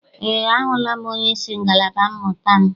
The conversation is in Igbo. Eé, ahụla m onyeisi ngalaba mmụta m.